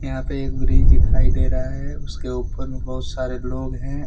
यहां पे एक ब्रिज दिखाई दे रहा है उसके ऊपर बहुत सारे लोग हैं।